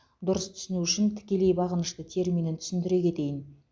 дұрыс түсіну үшін тікелей бағынышты терминін түсіндіре кетейін